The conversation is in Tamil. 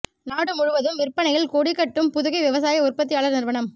நாடு முழுவதும் விற்பனையில் கொடி கட்டும் புதுகை விவசாய உற்பத்தியாளர் நிறுவனம்